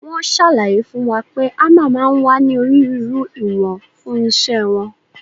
Wọ́n ṣàlàyé fún wa pé hámà máa ń wá ní onírúurú ìwọ̀n fún iṣẹ́ wọn.